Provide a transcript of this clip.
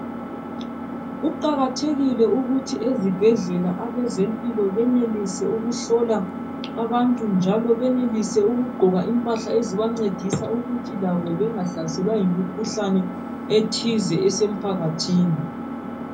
Kuqakathekile ukuthi ezibhedlela abempilo benelise ukuhlola abantu njalo benelise ukugqoka impahla ezibangcedisa ukuthi labo bengahlaselwa yimkhuhlane ethize esemphakathini